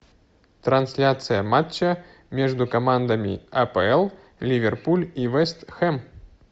трансляция матча между командами апл ливерпуль и вест хэм